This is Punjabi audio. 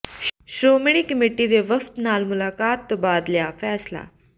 ਸ਼੍ਰੋਮਣੀ ਕਮੇਟੀ ਦੇ ਵਫ਼ਦ ਨਾਲ ਮੁਲਾਕਾਤ ਤੋਂ ਬਾਅਦ ਲਿਆ ਫ਼ੈਸਲਾ